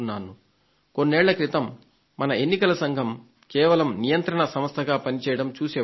కొన్నేళ్ళ క్రితం మన ఎన్నికల సంఘం కేవలం నియంత్రణ సంస్థగా పనిచేయడం చూసేవాళ్లం